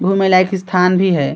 घूमने लायक स्थान भी है।